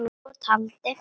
Og taldi